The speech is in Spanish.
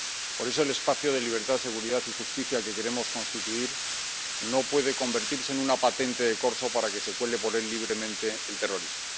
Por eso, el espacio de libertad seguridad y justicia que queremos constituir no puede convertirse en una patente de corso para que se cuele por él libremente el terrorismo.